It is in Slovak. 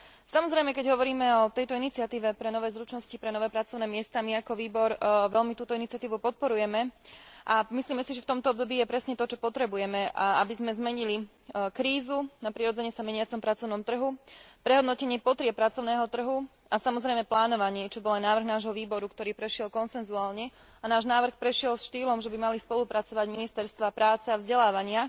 Samozrejme, keď hovoríme o tejto iniciatíve pre nové zručnosti, pre nové pracovné miesta, my, ako výbor, veľmi túto iniciatívu podporujeme a myslíme si, že v tomto období je presne to, čo potrebujeme, aby sme zmenili krízu na prirodzene sa meniacom pracovnom trhu prehodnotením potrieb pracovného trhu a, samozrejme, plánovanie, čo bol aj návrh nášho výboru, ktorý prešiel konsenzuálne a náš návrh prešiel štýlom, že by mali spolupracovať ministerstvá práce a vzdelávania